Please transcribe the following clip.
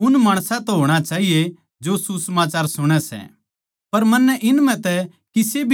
उन माणसां तै होणा चाहिए जो सुसमाचार सुणै सै